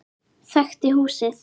Þekkti húsið.